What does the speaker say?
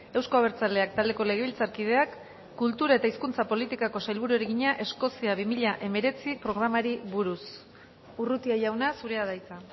euzko abertzaleak taldeko legebiltzarkideak kultura eta hizkuntza politikako sailburuari egina eskozia bi mila hemeretzi programari buruz urrutia jauna zurea da hitza